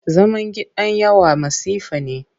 Zaman gidan yawa masifa ne.